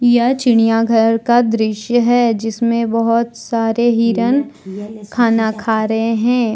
यह चिड़ियांघर का दृश्य है। जिसमें बहुत सारे हिरण खाना खा रहे हैं।